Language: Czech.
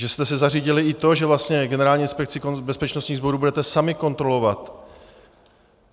Že jste si zařídili i to, že vlastně Generální inspekci bezpečnostních sborů budete sami kontrolovat?